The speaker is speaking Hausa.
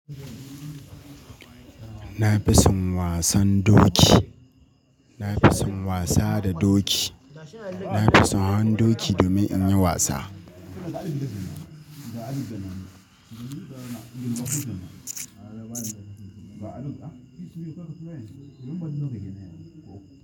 Na fi son wasan doki. Na fi son wasa da doki. Na fi son han doki domin in yi wasa.